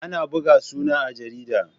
Ana buga suna a jarida.